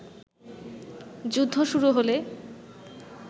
যুদ্ধ শুরু হলে